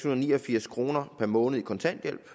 og niogfirs kroner per måned i kontanthjælp